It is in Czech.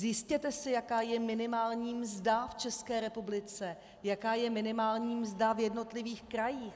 Zjistěte si, jaká je minimální mzda v České republice, jaká je minimální mzda v jednotlivých krajích.